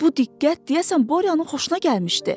Bu diqqət, deyəsən Boryanın xoşuna gəlmişdi.